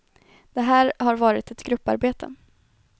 Det här har varit ett grupparbete.